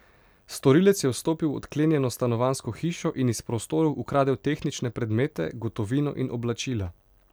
Storilec je vstopil v odklenjeno stanovanjsko hišo in iz prostorov ukradel tehnične predmete, gotovino in oblačila.